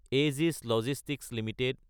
Aegis logistics Ltd